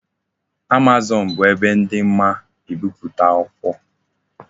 Amazon bu ebe di mma ibiputa akwukwo